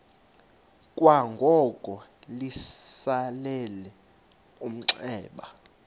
kwangoko litsalele umnxeba